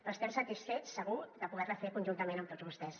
però estem satisfets segur de poder la fer conjuntament amb tots vostès